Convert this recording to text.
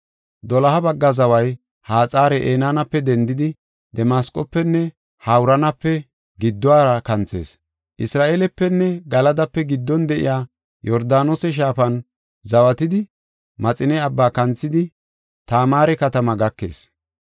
“Doloha bagga zaway Haxar-Enaanape dendidi, Damasqofenne Hawuranape gidduwara kanthees. Isra7eelepenne Galadape giddon de7iya Yordaanose shaafan zawatidi Maxine Abbaa kanthidi Tamaare katamaa gakees.